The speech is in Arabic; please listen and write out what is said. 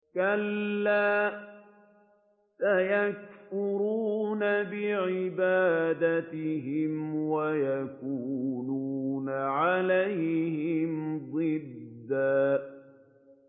كَلَّا ۚ سَيَكْفُرُونَ بِعِبَادَتِهِمْ وَيَكُونُونَ عَلَيْهِمْ ضِدًّا